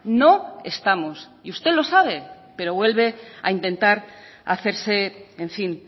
no estamos y usted lo sabe pero vuelve a intentar hacerse en fin